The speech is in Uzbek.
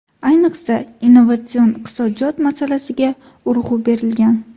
Ayniqsa, innovatsion iqtisodiyot masalasiga urg‘u berilgan.